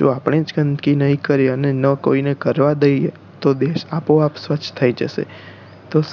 જો આપણે જ ગંદકી નહિ કર્યે અને ના કોઈ ને કરવા દઈએ તો દેશ આપોઆપ સ્વચ્છ થાય જશે